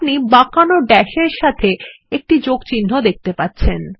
আপনি বাঁকানো ড্যাস এর সাথে একটি যোগ চিহ্ন দেখতে পাচ্ছেন